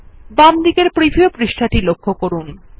বামদিকের প্রিভিউ পৃষ্ঠাটি লক্ষ্য করুন